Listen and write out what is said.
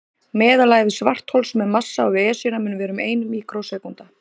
Meðalævi svarthols með massa á við Esjuna mun vera um ein míkrósekúnda.